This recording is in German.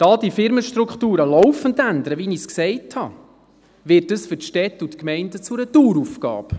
Da die Firmenstrukturen laufend ändern, wie ich gesagt habe, wird das für die Städte und Gemeinden zu einer Daueraufgabe.